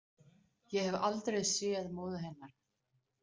Ég hef aldrei séð móður hennar